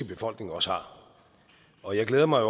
befolkningen også har og jeg glæder mig